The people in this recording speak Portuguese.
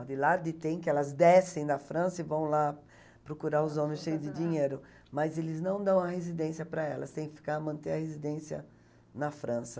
A Vilarde tem, que elas descem da França e vão lá procurar os homens cheios de dinheiro, mas eles não dão a residência para elas, tem que ficar, manter a residência na França.